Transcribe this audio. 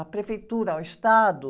À prefeitura, ao Estado?